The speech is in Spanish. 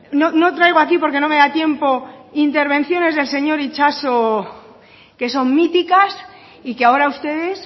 no no traigo aquí porque no me da tiempo intervenciones del señor itxaso que son míticas y que ahora ustedes